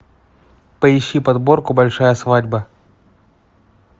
поищи подборку большая свадьба